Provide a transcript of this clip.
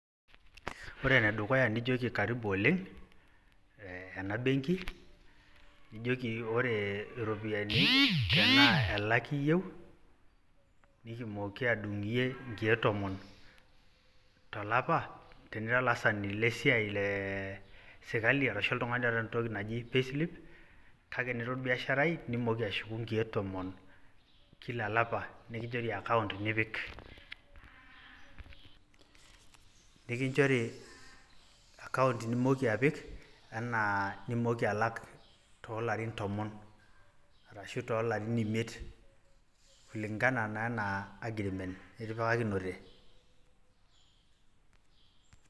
Ore ne dukuya nijoki karibu oleng ena benki nijoki ore iropiyiani tenaa elaki iyeu nikitumoki aadung' iyie inkeek tomon te lapa tinira ilaasani lee siaai ee sirkali arashu oltungani oota entoki naji [cs[ payslip kake enira orbiasharai nitumoki atushuku nkeek tomon kila lapa nikinchori account nipik anaa nimooki alak too larin tomon arashu too larin imiet kulingana naa ena aggreement nitipikakinete.